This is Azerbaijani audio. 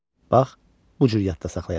Bax bu cür yadda saxlayasan.